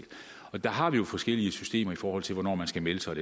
og der har vi jo forskellige systemer i forhold til hvornår man skal melde sig og